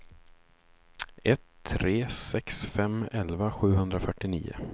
ett tre sex fem elva sjuhundrafyrtionio